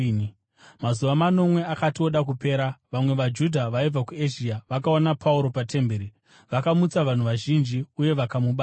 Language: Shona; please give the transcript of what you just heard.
Mazuva manomwe akati oda kupera, vamwe vaJudha vaibva kuEzhia vakaona Pauro patemberi. Vakamutsa vanhu vazhinji uye vakamubata,